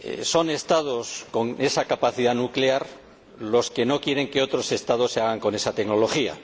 Son los Estados que tienen capacidad nuclear los que no quieren que otros Estados se hagan con esa tecnología